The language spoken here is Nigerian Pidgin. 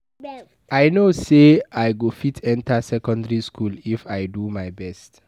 I no say I go fit enter secondary school if I do my best.